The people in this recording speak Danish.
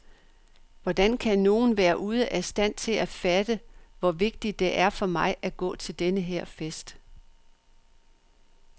Hvordan kan nogen være ude af stand til at fatte, hvor vigtigt det er for mig at gå til denne her fest?